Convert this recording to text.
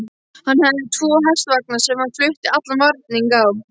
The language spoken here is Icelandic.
Hann hafði tvo hestvagna sem hann flutti allan varning á.